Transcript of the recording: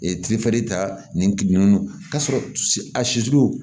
ta nin ka sɔrɔ a siw